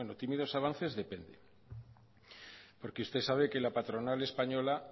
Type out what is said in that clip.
tímidos avances depende porque usted sabe que la patronal española